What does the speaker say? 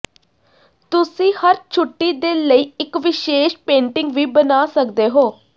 ਤੁਸੀਂ ਹਰ ਛੁੱਟੀ ਦੇ ਲਈ ਇੱਕ ਵਿਸ਼ੇਸ਼ ਪੇਟਿੰਗ ਵੀ ਬਣਾ ਸਕਦੇ ਹੋ